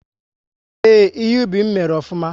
Ee, ihe ubi m mèrè ofụma